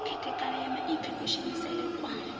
khethekanyo ya maipfi kushumisele kwa